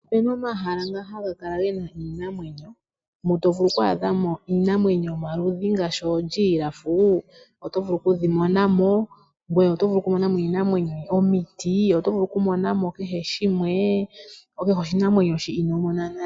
Opena omahala nga haga kala gena iinamwenyo, mu tovulu oku adhamo iinamwenyo yomaludhi ngaashi oonduli oto vulu okudhimona mo, ngoye otovulu okumona mo omiti , otovulu okumona mo kehe shimwe, kehe oshinamwenyo shi inoomona nale.